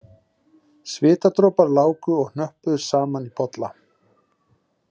Svitadropar láku og hnöppuðust saman í polla